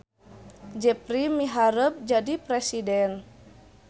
Jepri miharep jadi presiden